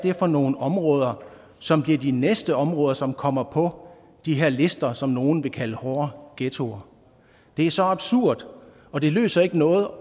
er for nogle områder som bliver de næste områder som kommer på de her lister og som nogle vil kalde hårde ghettoer det er så absurd og det løser ikke noget